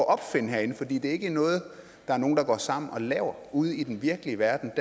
opfinde herinde for det ikke noget nogen går sammen og laver ude i den virkelige verden